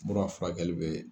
Mura furakɛli bɛ.